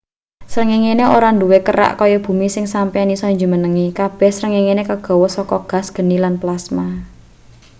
srengengene ora duwe kerak kaya bumi sing sampeyan isa jumenengi kabeh srengenge kagawe saka gas geni lan plasma